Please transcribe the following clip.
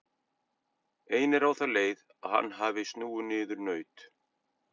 Ein er á þá leið að hann hafi snúið niður naut.